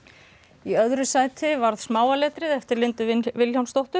í öðru sæti varð smáa letrið eftir Lindu Vilhjálmsdóttur